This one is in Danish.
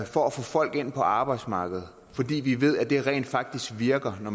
for at få folk ind på arbejdsmarkedet fordi vi ved at det rent faktisk virker så